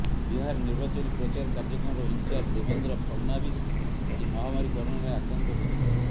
ବିହାର ନିର୍ବାଚନୀ ପ୍ରଚାର କାର୍ଯ୍ୟକ୍ରମର ଇନଚାର୍ଜ ଦେବେନ୍ଦ୍ର ଫଡନାଭିସ୍ ଆଜି ମହାମାରୀ କରୋନାରେ ଆକ୍ରାନ୍ତ ହୋଇଛନ୍ତି